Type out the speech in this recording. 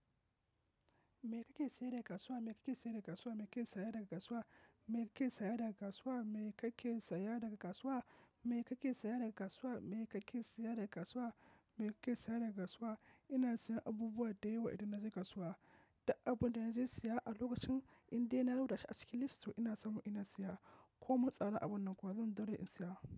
Me kake saye daga kasuwa? Me kake saye daga kasuwa? Me kake saya daga kasuwa? Me kake saya daga kasuwa? Me kake saya daga kasuwa? Me kake saya daga kasuwa? Me kake saya daga kasuwa? Me kake saya daga kasuwa? Ina siyan abubuwa da yawa idan na je kasuwa. Duk abin da na je siya a lokacin in dai na rubuta shi a cikin list to, ina samu ina siya. Ko mun tsadar abin nan kuwa zan daure in siya.